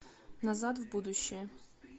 назад в будущее